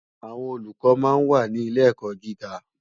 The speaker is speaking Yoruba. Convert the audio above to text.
Àwòn ólúkò má n wá ni ilé èkò gigá